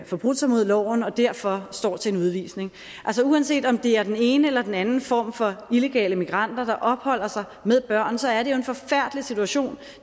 forbrudt sig mod loven og derfor står til en udvisning altså uanset om det er den ene eller den anden form for illegale migranter der opholder sig med børn så er det jo en forfærdelig situation